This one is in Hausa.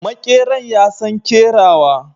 Makeran ya San kerawa.